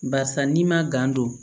Barisa n'i ma gan don